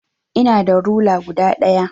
Eh ina da rula guda daya.